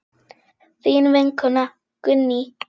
Þín vinkona Gunný.